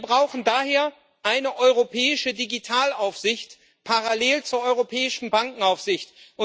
Wir brauchen daher eine europäische Digitalaufsicht parallel zur europäischen Bankenaufsicht.